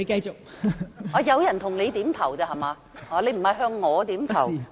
原來有人向你點頭，不是你向我點頭。